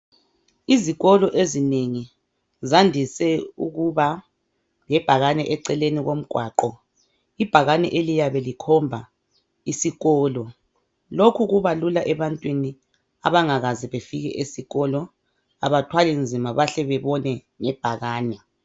Izikolo ezinengi zandise ukuba lebhakane eceleni komgwaqo. Ibhakane eliyabe likhomba isikolo. Lokhu kubalula ebantwini abangakaze bafike esikolo abathwali nzima bahle babone ngebhakane.